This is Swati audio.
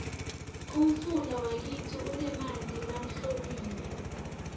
umfula wakitsi unemanti lahlobile